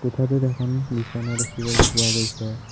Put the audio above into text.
কোঠাটোত এখন বিছনা দেখিবলৈ পোৱা গৈছে।